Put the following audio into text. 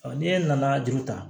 ni e nana juru ta